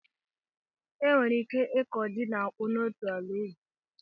E nwere ike ịkụ ji na akpu n'otu ala ubi.